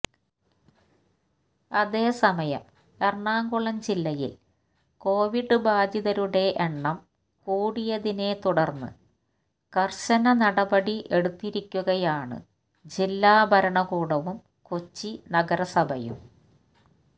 അതേസമയം എറണാകുളം ജില്ലയിൽ കൊവിഡ് ബാധിതരുടെ എണ്ണം കൂടിയതിനെ തുടർന്ന് കർശന നടപടി എടുത്തിരിക്കുകയാണ് ജില്ലാ ഭരണകൂടവും കൊച്ചി നഗരസഭയും